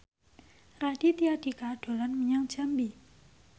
Raditya Dika dolan menyang Jambi